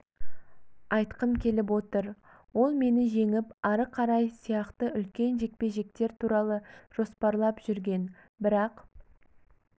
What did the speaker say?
айтқым келіп отыр ол мені жеңіп ары қарай сияқты үлкен жекпе-жектер туралы жоспарлап жүрген бірақ